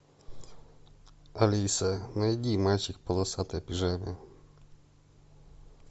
алиса найди мальчик в полосатой пижаме